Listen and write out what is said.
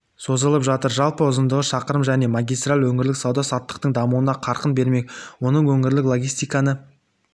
созылып жатыр жалпы ұзындығы шақырым жаңа магистраль өңірлік сауда-саттықтың дамуына қарқын бермек оның өңірлік логистиканы